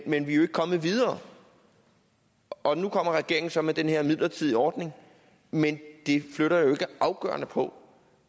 men vi er jo ikke kommet videre og nu kommer regeringen så med den her midlertidige ordning men det flytter jo ikke afgørende på